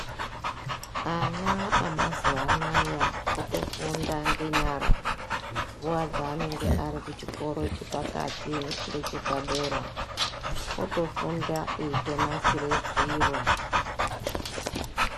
Ana amazuwa anaa otofunda ngenyara nguwa yaanenge ari kuchikora chepakati ngechepadera. Otofunda eitonasira zviro.